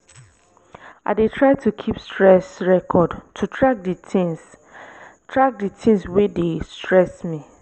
i dey try to keep stress record to track di things track di things wey dey stress me.